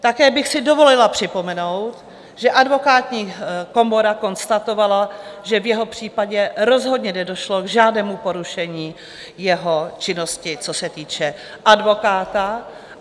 Také bych si dovolila připomenout, že Advokátní komora konstatovala, že v jeho případě rozhodně nedošlo k žádnému porušení jeho činnosti, co se týče advokáta.